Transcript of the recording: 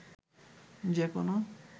যে কোনো